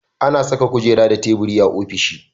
Ana Saka kujera da tabiri a ofishi